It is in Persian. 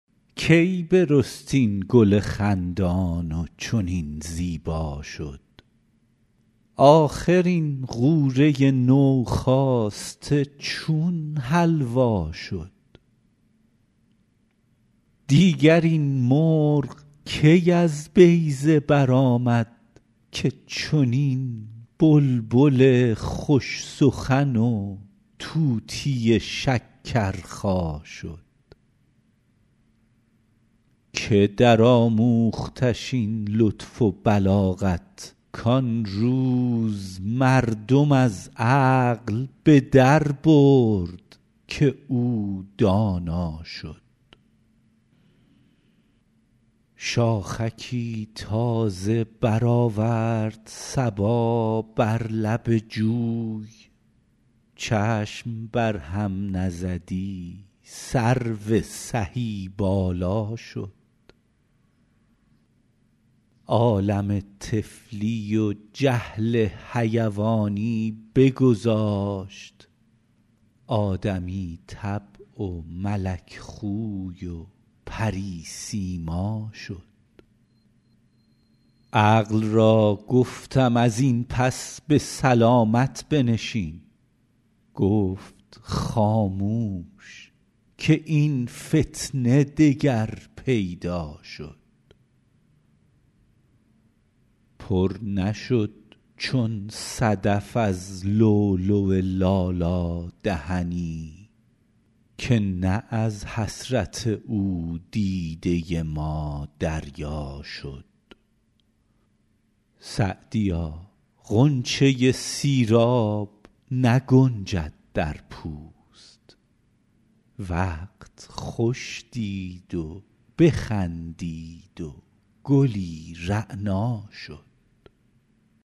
کی برست این گل خندان و چنین زیبا شد آخر این غوره نوخاسته چون حلوا شد دیگر این مرغ کی از بیضه برآمد که چنین بلبل خوش سخن و طوطی شکرخا شد که درآموختش این لطف و بلاغت کان روز مردم از عقل به دربرد که او دانا شد شاخکی تازه برآورد صبا بر لب جوی چشم بر هم نزدی سرو سهی بالا شد عالم طفلی و جهل حیوانی بگذاشت آدمی طبع و ملک خوی و پری سیما شد عقل را گفتم از این پس به سلامت بنشین گفت خاموش که این فتنه دگر پیدا شد پر نشد چون صدف از لؤلؤ لالا دهنی که نه از حسرت او دیده ما دریا شد سعدیا غنچه سیراب نگنجد در پوست وقت خوش دید و بخندید و گلی رعنا شد